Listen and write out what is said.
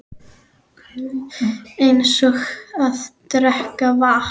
Eins og að drekka vatn.